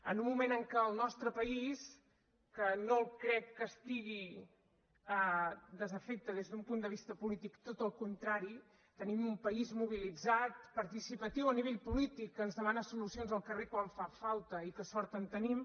en un moment en què el nostre país que no crec que estigui desafecte des d’un punt de vista polític tot el contrari tenim un país mobilitzat participatiu a nivell polític que ens demana solucions al carrer quan fan falta i que sort en tenim